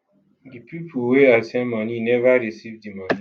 di pipo wey i send money neva receive di money